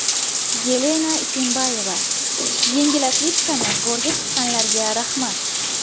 Yelena Isinbayeva: Yengil atletikani go‘rga tiqqanlarga rahmat!